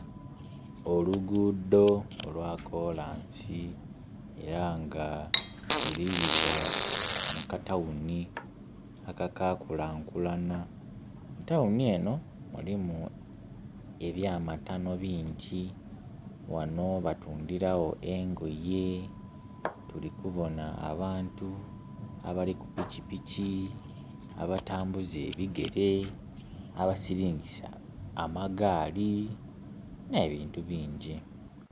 Olugudho olwakolansi era nga lulibita mu katawuni akakakulankulana. Mu tawuni eno mulimu ebya matano bingi ghano batundhiragho engoye, tuli kubona abantu abali ku pikipiki, abatambuza ebigere abasilingisa amagaali ne bintu bingi.